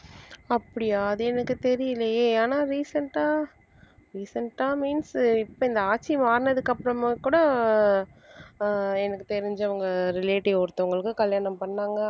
அப்படியா அது எனக்கு தெரியலயே ஆனா recent ஆ recent ஆ means இப்ப இந்த ஆட்சி மாறினதுக்கு அப்புறமும் கூட ஆஹ் எனக்கு தெரிஞ்சவங்க relative ஒருத்தவங்களுக்கு கல்யாணம் பண்ணாங்க